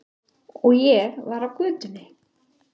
Og ég var á götunni.